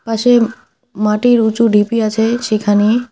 পাশে মাটির উঁচু ডিপি আছে সেইখানে--